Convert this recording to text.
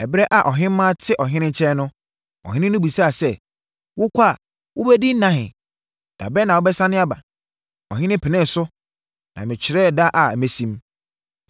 Ɛberɛ a ɔhemmaa te Ɔhene nkyɛn no, Ɔhene no bisaa sɛ, “Wokɔ a, wobɛdi nna ahe? Da bɛn na wobɛsane aba?” Ɔhene penee so, na mekyerɛɛ da a mɛsim.